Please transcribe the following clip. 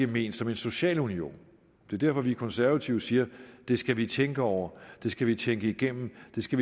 ment som en social union det er derfor vi konservative siger det skal vi tænke over det skal vi tænke igennem vi skal